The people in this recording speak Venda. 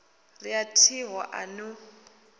ri a thiho a no